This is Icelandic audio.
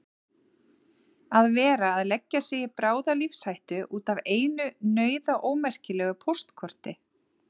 Að vera að leggja sig í bráða lífshættu út af einu nauðaómerkilegu póstkorti!